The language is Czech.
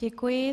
Děkuji.